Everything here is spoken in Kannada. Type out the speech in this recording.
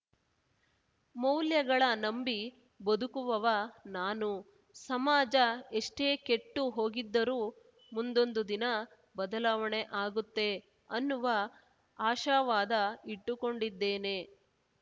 ಮೌಲ್ಯಗಳ ನಂಬಿ ಬದುಕುವವ ನಾನು ಸಮಾಜ ಎಷ್ಟೇ ಕೆಟ್ಟು ಹೋಗಿದ್ದರೂ ಮುಂದೊಂದು ದಿನ ಬದಲಾವಣೆ ಆಗುತ್ತೆ ಅನ್ನುವ ಆಶಾವಾದ ಇಟ್ಟುಕೊಂಡಿದ್ದೇನೆ